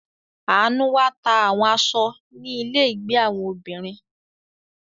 Anu wá ta àwọn aṣọ ni ile ìgbé àwọn obìnrin.